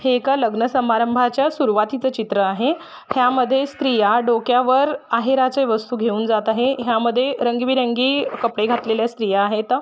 हे एका लग्न समारंभाच्या सुरवातीचा चित्र आहे ह्यामध्ये स्त्रीया डोक्यावर आहेराचे वस्तु घेऊन जात आहे ह्यामध्ये रंगीबेरंगी कपडे घातलेल्या स्त्रिया आहेत.